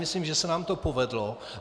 Myslím, že se nám to povedlo.